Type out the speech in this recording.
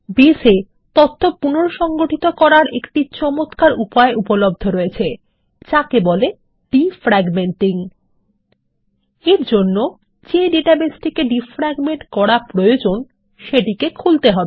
base এ তথ্য পুনঃসগঠিত করার একটি চমৎকার উপায় উপলব্ধ রয়েছে যাকে বলে ডিফ্র্যাগমেন্টিং এর জন্য যে ডেটাবেসটিকে ডিফ্র্যাগমেন্ট করা প্রয়োজন সেটি খুলতে হবে